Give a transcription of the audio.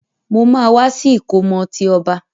Mo ma wa si ìkómọ ti ọba.